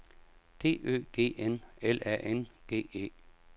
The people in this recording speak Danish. D Ø G N L A N G E